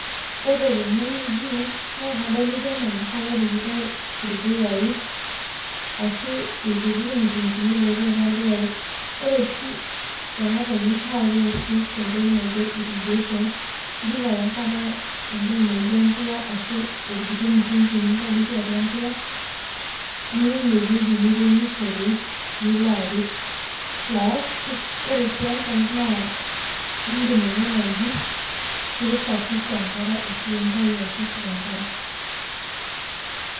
Ore tenewueji nakadolta ana enkare epikitae irpuyai ashu irkuti mutungini otii atua irpuyai ,ore oshi enatoki nakeasi tentoki naijo irrigation ipik ake enkare entoki naijo embuya ashu orkiti mutungi nintadoki atua empuya niya inewueji niremishore nilo apik plus ore si enkae na indimaikuna nji pi safisha enkare ashu pintau olchafu tenkare.